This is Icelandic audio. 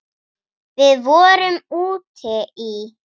Við vorum úti í